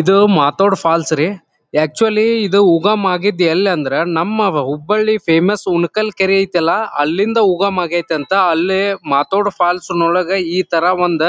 ಇದು ಮಾಥೋಡ್ ಫಾಲ್ಸ್ ರೀ ಆಕ್ಚುಲಿ ಉಗಮ್ ಆಗಿದ್ದ ಎಲ್ಲಿ ಅಂದ್ರೆ ನಮ್ಮ ಬ ಹುಬ್ಬಳ್ಳಿ ಫೇಮಸ್ ಉಣ್ಣಕಲ್ ಕೆರೆ ಆಯ್ತಲ್ಲಾ ಅಲ್ಲಿಂದ ಉಗಮ ಆಗೈತ್ತಂತ ಅಲ್ಲಿ ಮಾಥೋಡ್ ಫಾಲ್ಸ್ ನೊಳಗೆ ಈ ತರ ಒಂದ್